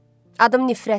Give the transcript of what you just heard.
Adım nifrətdir.